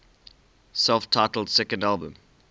self titled second album